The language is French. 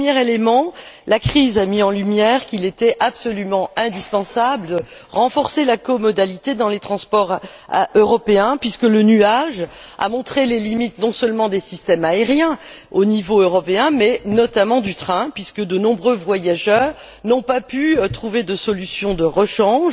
S'agissant du premier élément, la crise a mis en lumière qu'il était absolument indispensable de renforcer la comodalité dans les transports européens puisque le nuage a montré les limites non seulement des systèmes aériens au niveau européen, mais, notamment, du train puisque de nombreux voyageurs n'ont pas pu trouver de solution de rechange.